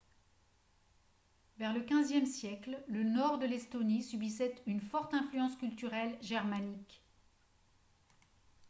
vers le 15e siècle le nord de l'estonie subissait une forte influence culturelle germanique